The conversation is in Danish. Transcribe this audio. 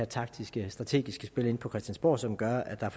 taktiske og strategiske spil herinde på christiansborg som gør at der